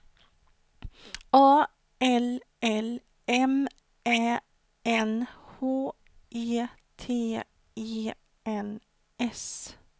A L L M Ä N H E T E N S